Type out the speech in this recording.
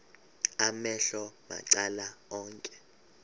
amehlo macala onke